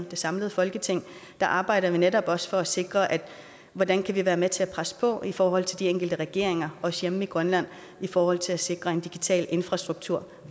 det samlede folketing arbejder vi netop også for at sikre hvordan vi kan være med til at presse på i forhold til de enkelte regeringer også hjemme i grønland i forhold til at sikre en digital infrastruktur